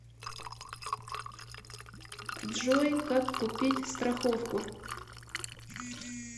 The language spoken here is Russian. джой как купить страховку